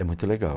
É muito legal.